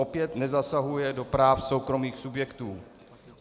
Opět nezasahuje do práv soukromých subjektů.